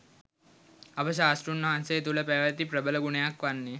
අප ශාස්තෘන් වහන්සේ තුළ පැවැති ප්‍රබල ගුණයක් වන්නේ